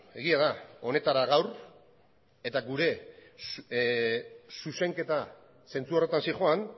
egia da honetara gaur eta gure zuzenketa zentzu horretan zihoan